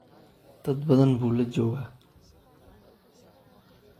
Dad badan buu la joogaa.